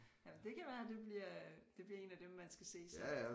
Jamen det kan være det bliver det bliver én af dem man skal se så